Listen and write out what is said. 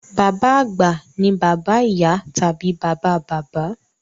Bàbá àgbà ni bàbá ìyá tàbí bàbá bàbá.